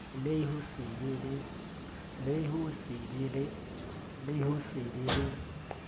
le ho se be le